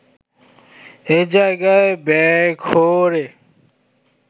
এ জায়গায় বেঘোরে